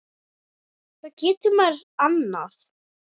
Hvað getur maður annað?